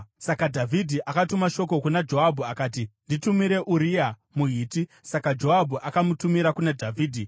Saka Dhavhidhi akatuma shoko kuna Joabhu akati, “Nditumire Uria muHiti.” Saka Joabhu akamutumira kuna Dhavhidhi.